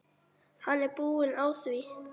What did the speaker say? Hann er búinn að því.